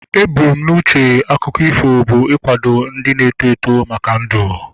Ebu m n'uche akụkọ ifo bụ ikwado ndị na-eto eto maka ndu